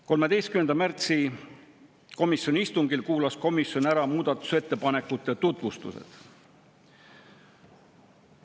13. märtsi komisjoni istungil kuulas komisjon ära muudatusettepanekute tutvustused.